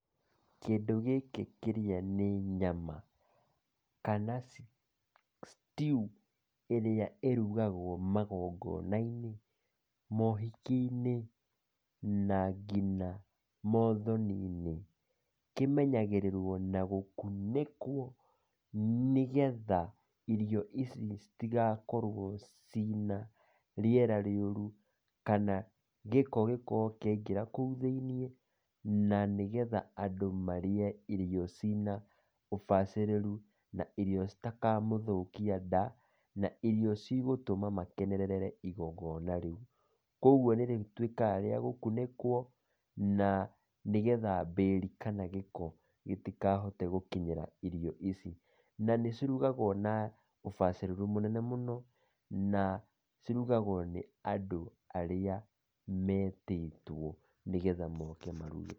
Kĩndũ gĩkĩ kĩrĩa nĩ nyama, kana stew ĩrĩa ĩrugagwo magongona-inĩ, mohiki-inĩ na ngina mothoni-inĩ, kĩmenyagĩrĩrwo na gũkunĩkwo nĩgetha irio ici citigakorwo ciĩna rĩera rĩũru kana gĩko gĩkorwo kĩaingĩra kũu thĩinĩ na nĩgetha andũ marĩe irio ciĩna ũbacĩrĩru na irio citakamũthũkia nda, na ĩrio cigũtũma makenerere igongona rĩũ, kouguo nĩrĩtuĩkaga rĩa gũkunĩkwo, na nĩgetha mbĩri kana gĩko gĩtikahote gũkinyĩra irio ici, na nĩcirugagwo na ũbacirĩru mũnene mũno na cirugagwo nĩ andũ arĩa metĩtwo nĩgetha moke maruge.